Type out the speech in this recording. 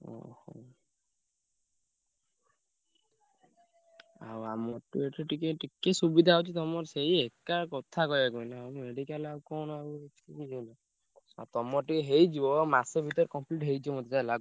ହୁଁ ହୁଁ, ଆଉ ଆମ ଠୁ ଏଠୁ ଟିକେ ଟିକେ ସୁବିଧା ଅଛି। ତମର ସେଇ ଏକା କଥା କହିଆକୁ ଗଲେ। medical କଣ ଆଉ ବୁଝିହେଲା ତମର ଟିକେ ହେଇଯିବ ମାସେ ଭିତରେ complete ହେଇଯିବ ମତେ ଯାହା।